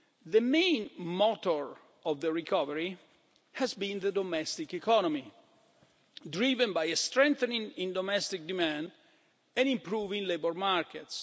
The main motor of the recovery has been the domestic economy, driven by a strengthening in domestic demand and improving labour markets.